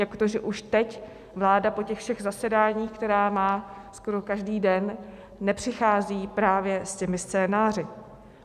Jak to, že už teď vláda po těch všech zasedáních, která má skoro každý den, nepřichází právě s těmi scénáři?